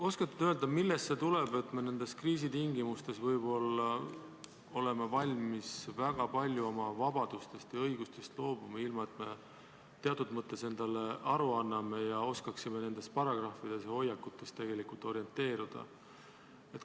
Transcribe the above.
Oskate te öelda, millest see tuleb, et me nendes kriisitingimustes oleme valmis väga paljuski oma vabadustest ja õigustest loobuma, ilma et me sellest teatud mõttes endale aru annaksime ja oskaksime nendes paragrahvides ja hoiakutes tegelikult orienteeruda?